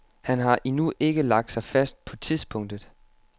Han har endnu ikke lagt sig fast på tidspunktet.